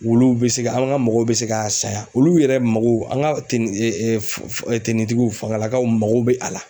Wulu bɛ se ka an ka mɔgɔw bɛ se k'a san yan olu yɛrɛ mago an ka fangalakaw mako bɛ a la.